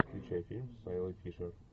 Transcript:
включай фильм с айлой фишер